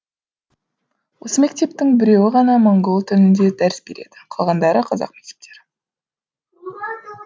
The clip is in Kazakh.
осы мектептің біреуі ғана моңғол тілінде дәріс береді қалғандары қазақ мектептері